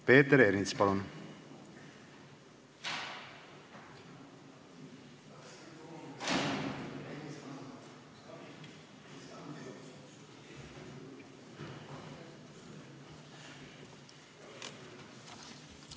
Peeter Ernits, palun!